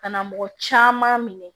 Ka na mɔgɔ caman minɛ